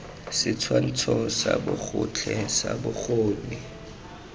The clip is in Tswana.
setshwantsho sa bogotlhe sa bokgoni